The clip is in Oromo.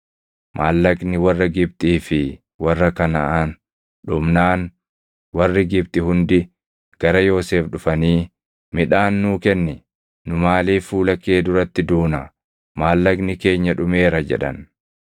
Maallaqni warra Gibxii fi warra Kanaʼaan dhumnaan warri Gibxi hundi gara Yoosef dhufanii, “Midhaan nuu kenni. Nu maaliif fuula kee duratti duuna? Maallaqni keenya dhumeera” jedhan.